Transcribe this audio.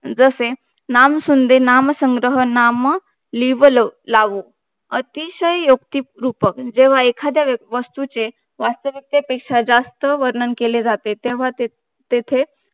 जसे नाम सुंध्ये नाम संग्रह नाम लिवलावो अतिशय युक्तिकरूप जेव्हा एखाद्या वस्तूचे वाटते तिथकेपेक्षा जास्त वर्णन केले जाते तेव्हा तेथे